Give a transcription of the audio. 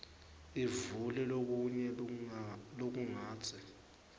ivule lokunye lokungatsi